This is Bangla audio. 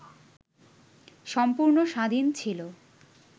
সম্পূর্ণ স্বাধীন ছিল,